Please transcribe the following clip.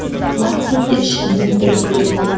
мартин де ішінен бір күліп қой